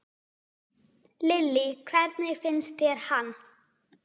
Lillý: Hvernig finnst þér hann?